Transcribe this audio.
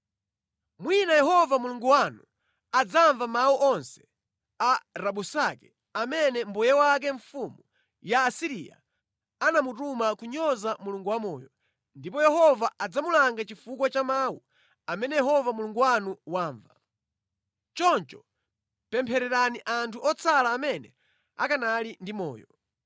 Mwina Yehova Mulungu wanu adzamva mawu onse a Rabusake amene mbuye wake, mfumu ya ku Asiriya anamutuma kudzanyoza Mulungu wamoyo, ndipo Mulunguyo adzamulanga chifukwa cha mawu amene Yehova Mulungu wanu wamva. Choncho pemphererani anthu otsala amene akanali ndi moyo.’ ”